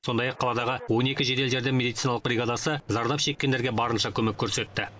сондай ақ қаладағы он екі жедел жәрдем медициналық бриагадасы зардап шеккендерге барынша көмек көрсетті